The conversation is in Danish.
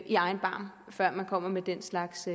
i egen barm før man kommer med den slags